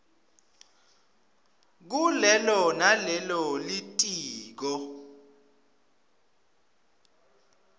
kulelo nalelo litiko